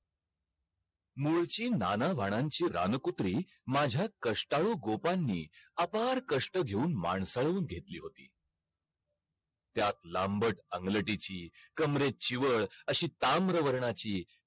किंवा arts वाल्यांना वेगळं असतो असे लय वेगवेगळे हे असतात प्रकार आहेत म्हणजे different ये असा .